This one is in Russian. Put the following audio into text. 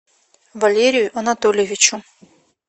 валерию анатольевичу